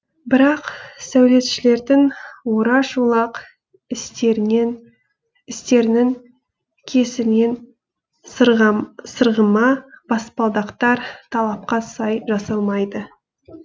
бірақ сәулетшілердің ораш олақ істерінің кесірінен сырғыма баспалдақтар талапқа сай жасалмайды